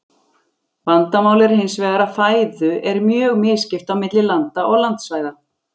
Vandamálið er hins vegar að fæðu er mjög misskipt á milli landa og landsvæða.